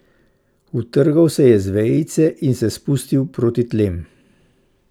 Utrgal se je z vejice in se spustil proti tlem.